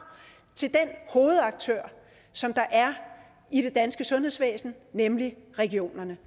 til den hovedaktør som der er i det danske sundhedsvæsen nemlig regionerne